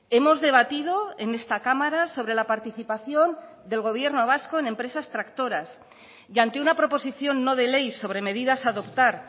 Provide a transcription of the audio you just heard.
hemos debatido en esta cámara sobre la participación del gobierno vasco en empresas tractoras y ante una proposición no de ley sobre medidas a adoptar